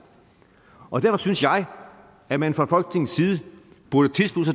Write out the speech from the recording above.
og derfor synes jeg at man fra folketingets side burde tilslutte